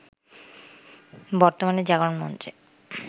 বর্তমানে জাগরণ মঞ্চে